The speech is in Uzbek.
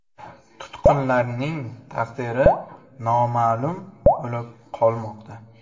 Tutqunlarning taqdiri noma’lum bo‘lib qolmoqda.